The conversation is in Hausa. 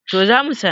to za mu sanar